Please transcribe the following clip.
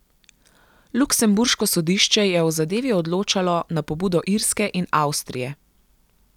Luksemburško sodišče je o zadevi odločalo na pobudo Irske in Avstrije.